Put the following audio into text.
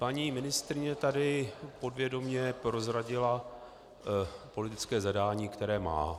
Paní ministryně tady podvědomě prozradila politické zadání, které má.